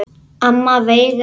Amma Veiga.